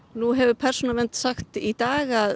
nú hefur persónuvernd sagt í dag að